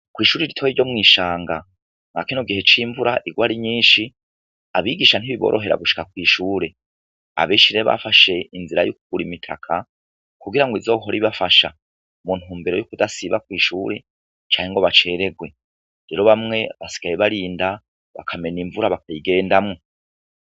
Kw'ishuri ritoyi ryo mu rushanga ivura imaze igihe irwa ari nyinshi abigisha mu kuza ntibiborohera gushika kw'ishure, abenshi rero bafashe inzira yo kugura imitaka kugira ngo izohore ibafasha mu ntumbero yo kudasiba kw'ishure canke ngo bacererwe, rero bamwe basigaye barinda bakamena imvura bakayigendamwo.